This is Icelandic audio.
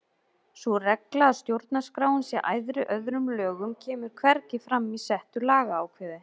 Sú regla að stjórnarskráin sé æðri öðrum lögum kemur hvergi fram í settu lagaákvæði.